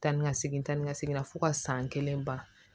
Taa ni ka segin taa ni ka segin fo ka san kelen ban